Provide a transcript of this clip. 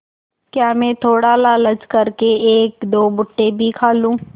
क्या मैं थोड़ा लालच कर के एकदो भुट्टे भी खा लूँ